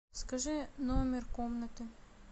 скажи номер комнаты